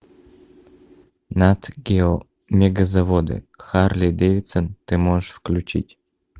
нат гео мегазаводы харлей дэвидсон ты можешь включить